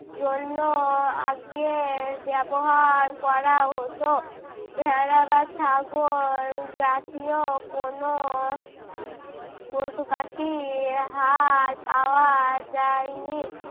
জন্য আগের ব্যবহার করা হতো ভেড়া বা ছাগল জাতীয় কোনো পশু-পাখির হাড় পাওয়া যায় নি।